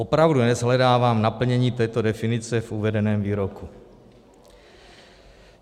Opravdu neshledávám naplnění této definice v uvedeném výroku.